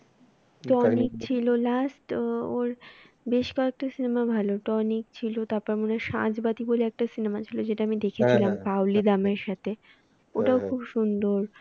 tonic ছিল last ওর বেশ কয়েকটা cinema ভালো টনিক ছিল তার পরে মনে হয় সাঁঝবাতি বলে একটা cinema ছিল যেটা আমি দেখেছিলাম পাওলি রামের সাথে ওটাও খুব সুন্দর